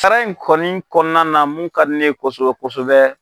Sara in kɔni kɔnɔna na mun ka di ne kosɛbɛ kosɛbɛ